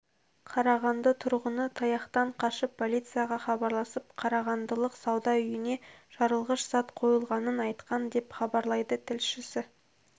қарағанды тұрғыны таяқтан қашып полицияға хабарласып қарағандылық сауда үйіне жарылғыш зат қойылғанын айтқан деп хабарлайды тілшісі